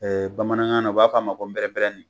bamanankan na u b'a f'a ma ko nprɛprɛnnin